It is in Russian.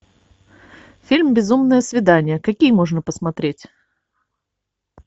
фильм безумное свидание какие можно посмотреть